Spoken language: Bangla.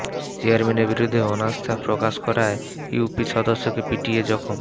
চেয়ারম্যানের বিরুদ্ধে অনাস্থা প্রকাশ করায় ইউপি সদস্যকে পিটিয়ে জখম